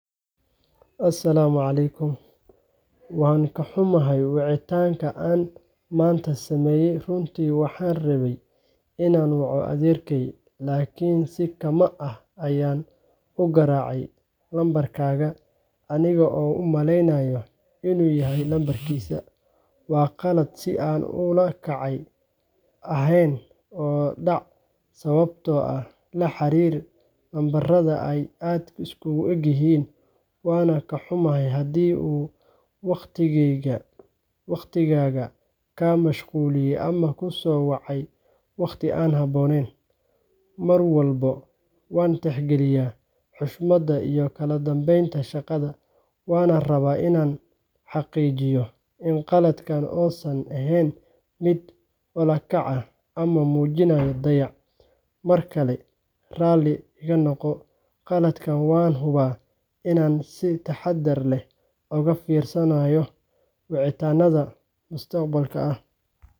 Asalaamu calaykum Waan kaxumahay wicitaanka aan maanta sameeyey-runtii waxaan rabay inaan waco adeerkay, laakiin si kama' ah ayaan u garaacay nambarkaaga aniga oo u maleynaya inuuyahay nambarkiisa. Waa qalad si aan ula kac ahayn oo dhacaysababo la xiriira in nambarada ay aad isugueg yihiin, waana ka xumahay haddii uu wicitaankayga kaa mashquuliyey ama ku soo beegmay waqti aan habboonayn. Mar walba waan tixgeliyaa xushmadda iyokala dambeynta shaqada, waxaana rabaa inaan xaqiijiyo in qaladkan uusan ahayn mid ula kac ah ama muujinaya dayac. Mar kale raalli iga noqo qaladkan, waanahubaa in aan si taxaddar leh uga fiirsandoono wicitaannada mustaqbalka.